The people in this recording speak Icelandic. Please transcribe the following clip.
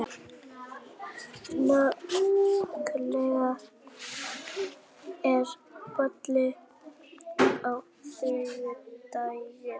Nikoletta, er bolti á þriðjudaginn?